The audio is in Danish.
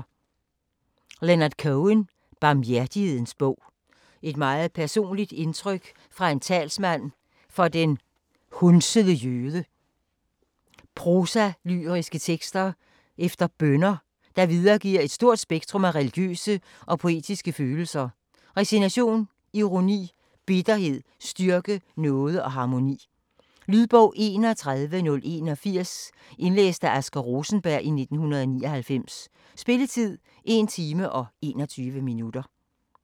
Cohen, Leonard: Barmhjertighedens bog Et meget personligt udtryk fra en talsmand for den hundsede jøde: prosalyriske tekster eller bønner, der videregiver et stort spektrum af religiøse og poetiske følelser: resignation, ironi, bitterhed, styrke, nåde og harmoni. Lydbog 31081 Indlæst af Asger Rosenberg, 1999. Spilletid: 1 time, 21 minutter.